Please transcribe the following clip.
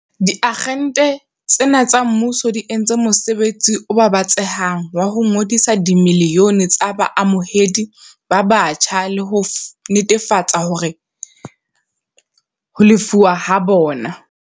Diagente tsena tsa mmuso di entse mosebetsi o babatsehang wa ho ngodisa dimilione tsa baamohedi ba batjha le ho netefatsa ho lefuwa ha bona.